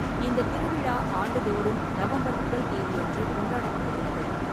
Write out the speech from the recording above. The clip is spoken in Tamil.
இந்தத் திருவிழா ஆண்டுதோறும் நவம்பர் முதல் தேதியன்று கொண்டாடப்படுகிறது.